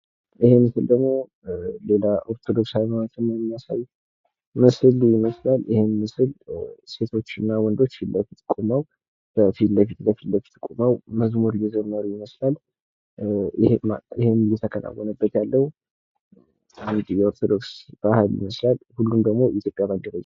ይህ ምስል ደግሞ ሌላ የኦርቶዶክስ እምነትን ነው የሚያሳይ ይመስላል። ይህ ምስል ሴቶች እና ወንዶች ፊት ለፊት ቁመው በፊት ለፊት ቁመው መዝሙር እየዘመሩ ይመስላል። ይህ እየተከናወነበት ያለው። የኦርቶዶክስ ተዋህዶ ይመስላል። ከመቋሚያው ደግሞ የኢትዮጵያ ሳንድራ ይታያል።